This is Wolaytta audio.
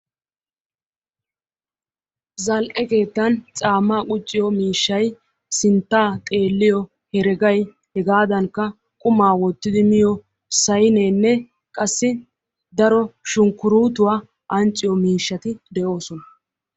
zal'e keettan caammaa qucciyo miishay sinttaa xeeliyo hereggay hegaadankka qumaa wottidi miyo sayneenne qassi daro shunkkuruutiya ancciyo miishshati de'oosona.